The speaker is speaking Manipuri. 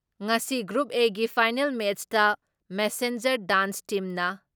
ꯉꯁꯤ ꯒ꯭ꯔꯨꯞ ꯑꯦꯒꯤ ꯐꯥꯏꯅꯦꯜ ꯃꯦꯠꯁꯇ ꯃꯦꯁꯦꯟꯖꯔ ꯗꯥꯟꯁ ꯇꯤꯝꯅ